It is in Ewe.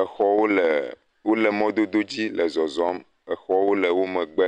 exɔwo leee wole mɔdododzi le zɔzɔm. Exɔwo le wo megbe.